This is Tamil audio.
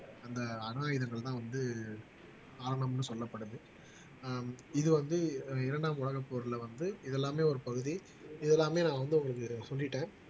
அந்த அணு ஆயுதங்கள்தான் வந்து ஆரம்பம்னு சொல்லப்படுது ஆஹ் இது வந்து இரண்டாம் உலகப் போர்ல வந்து இதெல்லாமே ஒரு பகுதி இதெல்லாமே நான் வந்து உங்களுக்கு சொல்லிட்டேன்